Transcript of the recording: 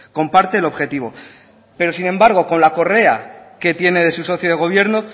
comparte el objetivo pero sin embargo con la correa que tiene de su socio de gobierno